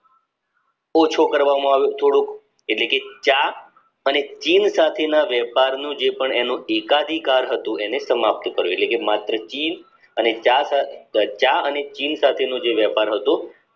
ઓછો કરવામાં આવ્યો થોડોક એટલે કે ચા અને જીવ જાતિના વેપારની જે પણ એનો ટીક્ડીકાર હતો એને સમાપ્ત કર્યો એટલે કે માત્ર ચીન અને ચા પાર તો ચા અને ચીન સાથે નો જે વેપાર હતો